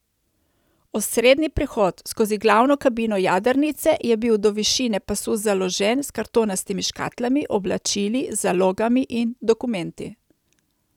Osrednji prehod skozi glavno kabino jadrnice je bil do višine pasu založen s kartonastimi škatlami, oblačili, zalogami in dokumenti.